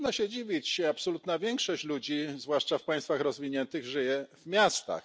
I trudno się dziwić absolutna większość ludzi, zwłaszcza w państwach rozwiniętych, żyje w miastach.